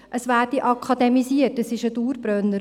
es werde akademisiert, das ist ein Dauerbrenner.